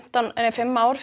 fimm ár